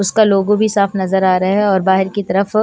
उसका लोगो भी साफ नजर आ रहा है और बाहर की तरफ --